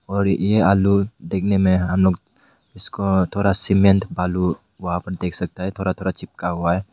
और यह आलू देखने में हम लोग इसको थोड़ा सीमेंट आलू वहां पर देख सकता है थोड़ा थोड़ा चिपका हुआ है।